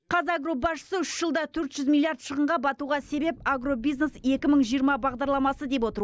қазагро басшысы үш жылда төрт жүз миллиард шығынға батуға себеп агробизнес екі мың жиырма бағдарламасы деп отыр